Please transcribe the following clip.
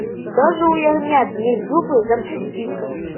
даже у ягнят есть зубы запусти ка